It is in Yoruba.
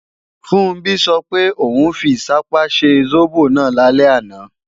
Funbí sọ pé, òun fi ìṣápá ṣe sóbò náà lálẹ́ àná